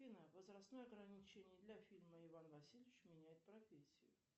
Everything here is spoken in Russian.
афина возрастное ограничение для фильма иван васильевич меняет профессию